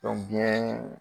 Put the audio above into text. biɲɛ .